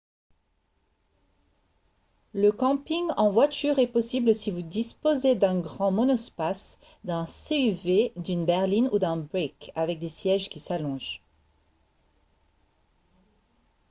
le camping en voiture est possible si vous disposez d'un grand monospace d'un suv d'une berline ou d'un break avec des sièges qui s'allongent